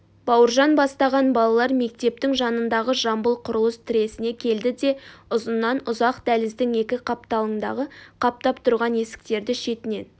бауыржан бастаған балалар мектептің жанындағы жамбыл құрылыс тресіне келді де ұзыннан-ұзақ дәліздің екі қапталыңдағы қаптап тұрған есіктерді шетінен